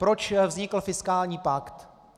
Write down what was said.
Proč vznikl fiskální pakt?